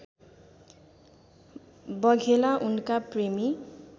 बघेला उनका प्रेमी